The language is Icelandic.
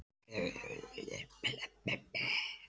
Halli var vinsæll þetta kvöld.